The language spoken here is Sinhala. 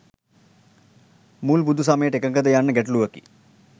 මුල් බුදු සමයට එකඟ ද යන්න ගැටලුවකි.